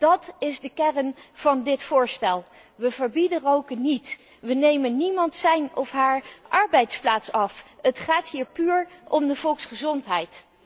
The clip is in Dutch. Dat is de kern van dit voorstel. We verbieden roken niet, we nemen niemand zijn of haar arbeidsplaats af. Het gaat hier puur om de volksgezondheid.